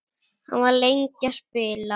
Hann var lengi að spila.